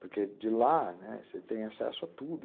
porque de lá você tem acesso a tudo.